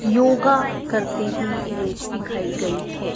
योगा करती हुई इमेज दिखाई गई है।